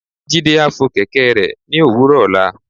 Jide a fo kẹkẹ re ni owúrò ola